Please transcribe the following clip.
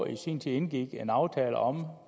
i sin tid indgik en aftale om